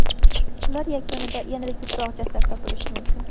Ular yakunida yanada ko‘proq jasad topilishi mumkin.